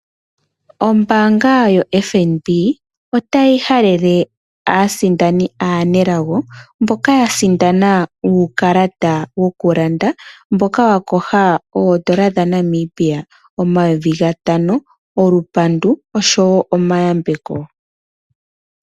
Ombaanga yoFNB otayi halele aasindani aanelago mboka yasindana uukalata wokulanda , olupandu oshowoo omayambeko